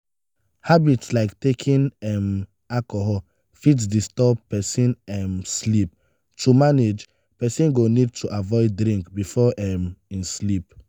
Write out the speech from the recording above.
habits like taking um alcohol fit disturb person um sleep to manage person go need to avoid drink before um im sleep